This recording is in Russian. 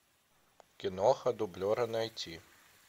киноха дублера найти